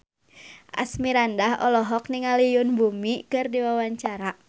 Asmirandah olohok ningali Yoon Bomi keur diwawancara